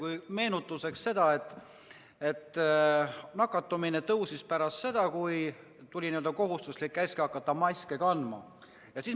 Ütlen meenutuseks, et nakatumine kasvas pärast seda, kui tuli käsk hakata maske kandma.